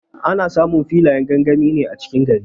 Ana samun filayen gangami ne cikin gari.